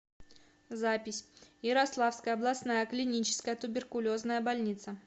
запись ярославская областная клиническая туберкулезная больница